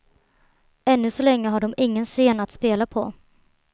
Ännu så länge har de ingen scen att spela på.